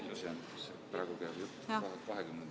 Aitäh!